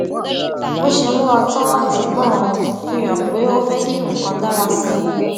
bó ṣe múra tán láti gbọràn fihàn pé ó fé kí nǹkan dára sí i